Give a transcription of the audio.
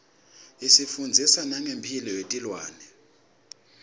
isifundzisa nangemphilo yetilwane